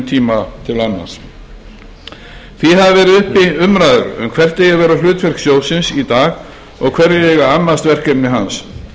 tíma til annars því hafa verið uppi umræður um hvert eigi að vera hlutverk sjóðsins í dag og hverjir eigi að annast verkefni hans